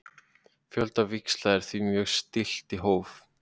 Fjölda víxla er því mjög stillt í hóf.